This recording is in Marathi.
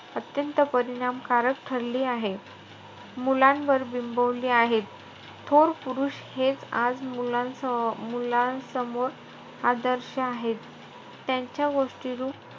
अत्यंत परिणामकारक ठरली आहे. मुलांवर बिंबवली आहे. थोर पुरुष हेचं आज मुलांसमोर आदर्श आहेत. त्यांच्या गोष्टीरूप,